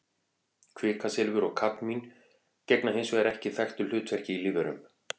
Kvikasilfur og kadmín gegna hins vegar ekki þekktu hlutverki í lífverum.